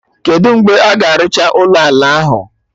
Kedụ mgbe a ga-arụcha ụlọ ala ahụ?